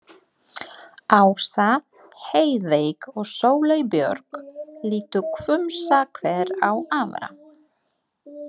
Ása, Heiðveig og Sóley Björk litu hvumsa hver á aðra.